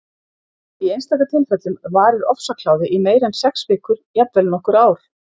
Í einstaka tilfellum varir ofsakláði í meira en sex vikur, jafnvel nokkur ár.